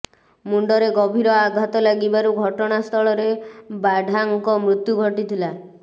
ମୁଣ୍ଡରେ ଗଭୀର ଆଘାତ ଲାଗିବାରୁ ଘଟଣାସ୍ଥଳରେ ବାଢ଼ାଙ୍କ ମୃତ୍ୟୁ ଘଟିଥିଲା